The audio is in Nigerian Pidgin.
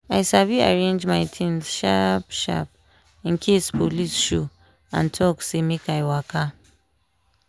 i sabi arrange my things sharp-sharp in case police show and talk say make i waka.